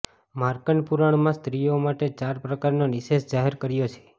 માર્કન્ડ પુરાણમાં સ્ત્રીઓ માટે ચાર પ્રકારનો નિશેષ જાહેર કર્યો છે